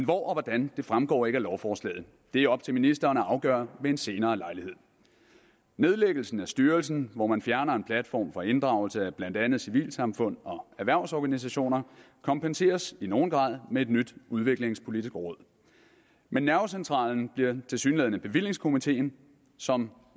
og hvordan fremgår ikke af lovforslaget det er op til ministeren at afgøre ved en senere lejlighed nedlæggelsen af styrelsen hvor man fjerner en platform for inddragelse af blandt andet civilsamfund og erhvervsorganisationer kompenseres i nogen grad med et nyt udviklingspolitisk råd men nervecentralen bliver tilsyneladende bevillingskomiteen som